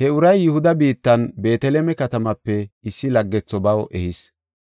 He uray Yihuda biittan, Beeteleme katamaape issi laggetho baw ehis.